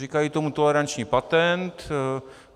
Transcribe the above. Říkají tomu toleranční patent.